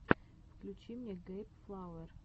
включи мне гейб флауэр